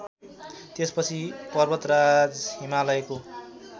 त्यसपछि पर्वतराज हिमालयको